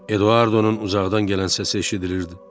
Eduardonun uzaqdan gələn səsi eşidilirdi.